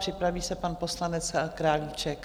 Připraví se pan poslanec Králíček.